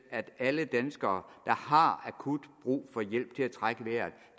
at alle danskere der har akut brug for hjælp til at trække vejret